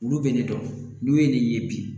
Olu bɛ ne dɔn n'u ye ne ye bi